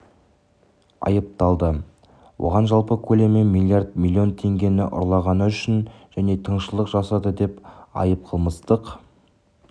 айыпталды оған жалпы көлемі млрд млн теңгені ұрлағаны үшін және тыңшылық жасады деп айып қылмыстық